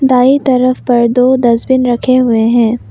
दाएं तरफ पर दो डस्टबिन रखे हुए हैं।